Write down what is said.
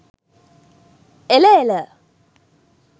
එළ එළ!